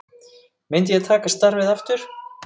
Myndi ég taka starfið aftur?